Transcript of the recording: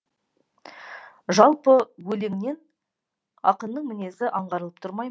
жалпы өлеңнен ақынның мінезі аңғарылып тұрмай ма